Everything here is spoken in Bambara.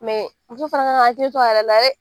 muso fana kan k'a hakili to a yɛrɛ la dɛ